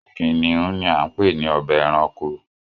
Kìnnìún ni a ń pè ní ọbà ẹ̀ràṇkò.